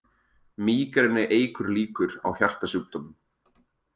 Mígreni eykur líkur á hjartasjúkdómum